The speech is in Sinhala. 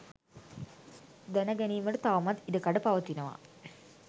දැන ගැනීමට තවමත් ඉඩ කඩ පවතිනවා.